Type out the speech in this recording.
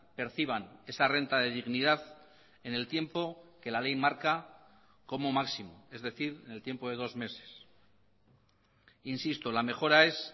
perciban esa renta de dignidad en el tiempo que la ley marca como máximo es decir en el tiempo de dos meses insisto la mejora es